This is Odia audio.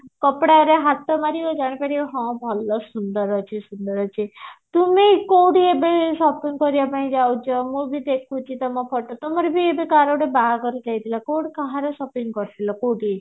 କାଦରେ ହାତ ମାରିବ ଜାଣିପାରିବ ହଁ ଭଲ ସୁନ୍ଦର ଅଛି ସୁନ୍ଦର ଅଛି ତୁମେ କୋଉଠି ଏବେ shopping କରିବା ପାଇଁ ଯାଉଛ ମୁଁ ବି ଦେଖୁଛି ତମ photo ତମର ବି ଏବେ କାହାର ଗୋଟେ ବାହାଘର ଯାଇଥିଲ କୋଉଠି କାହାର shopping କରିଥିଲ କୋଉଠି